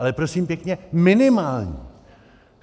Ale prosím pěkně minimální.